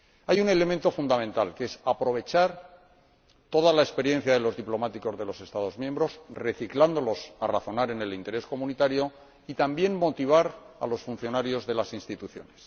Hay un elemento fundamental, que es aprovechar toda la experiencia de los diplomáticos de los Estados miembros, reciclándolos de manera que razonen en interés de la UE y, también, motivar a los funcionarios de las instituciones.